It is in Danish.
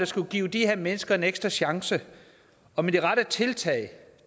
skulle give de her mennesker en ekstra chance og med de rette tiltag